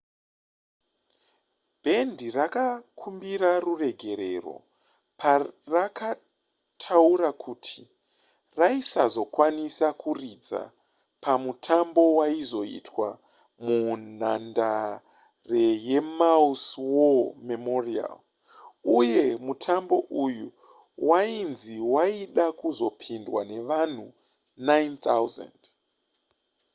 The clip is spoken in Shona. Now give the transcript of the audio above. bhendi rakakumbira ruregerero parakataura kuti raisazokwanisa kuridza pamutambo waizoitwa munhandare yemaui's war memorial uye mutambo uyu wainzi waida kuzopindwa nevanhu 9 000